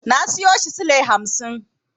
Na siyo shi sule hamsin.